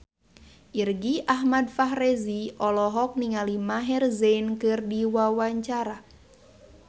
Irgi Ahmad Fahrezi olohok ningali Maher Zein keur diwawancara